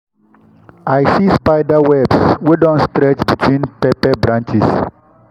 i see spider webs wey don stretch between pepper branches.